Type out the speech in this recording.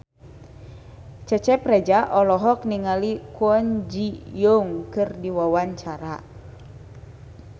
Cecep Reza olohok ningali Kwon Ji Yong keur diwawancara